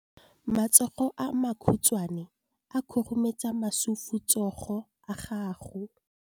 Matsogo a makhutshwane a khurumetsa masufutsogo a gago.